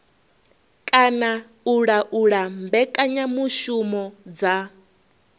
kana u laula mbekanyamushumo dza